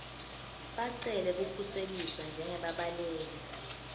bacele kukhuseliswa njengebabaleki